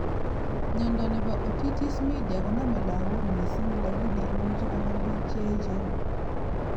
Miondo nebo Otitis Media koname lagok missing lakini imuchi konam bik cheechen